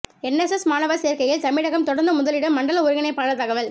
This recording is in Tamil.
என்எஸ்எஸ் மாணவர் சேர்க்கையில் தமிழகம் தொடர்ந்து முதலிடம் மண்டல ஒருங்கிணைப்பாளர் தகவல்